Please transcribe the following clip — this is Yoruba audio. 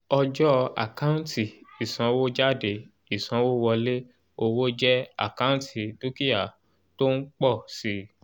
ọjọ́ àkántì ìsanwójáde ìsanwówọlé owó jẹ́ àkántì dúkìá tó ń pọ̀ si